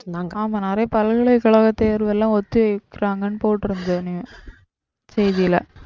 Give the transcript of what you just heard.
ஆமா நிறைய பல்கலைக்கழக தேர்வெல்லாம் ஒத்தி வைக்கிறாங்கனு போட்டிருந்தது செய்தில